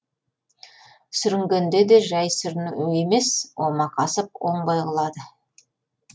сүрінгенде де жай сүріну емес омақасып оңбай құлады